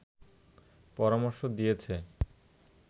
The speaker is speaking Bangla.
পরামর্শ দিয়েছে